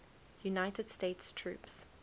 united states troops